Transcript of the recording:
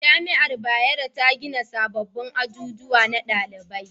Jami'ar bayero ta gina sababbin azuzuwa na dalibai